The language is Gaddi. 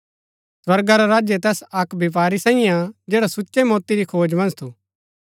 स्वर्गा रा राज्य तैस अक्क व्यपारी साईये हा जैडा सुच्चै मोति री खोज मन्ज थु